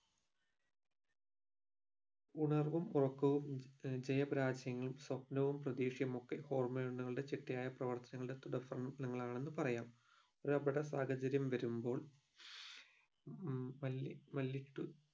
ഉണർവും ഉറക്കവും ജയ പരാജയങ്ങളും സ്വപ്നവും പ്രതീക്ഷയുമൊക്കെ hormone ഉകളുടെ ചിട്ടയായ പ്രവർത്തനങ്ങളുടെ തുടർഫലനങ്ങൾ ആണെന്ന് പറയാം ഒരാപകട സാഹചര്യം വരുമ്പോൾ മ് മല്ലി മല്ലിട്ട്